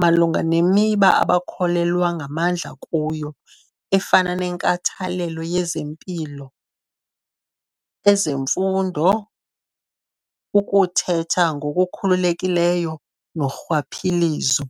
malunga nemiba abakholelwa ngamandla kuyo, efana nenkathalelo yezempilo, ezemfundo, ukuthetha ngokukhululekileyo norhwaphilizo.